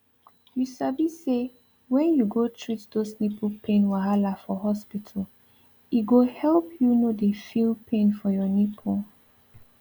you sabi say when you go treat those nipple pain wahala for hospital e go help you no dey feel pain for your nipple